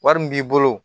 Wari min b'i bolo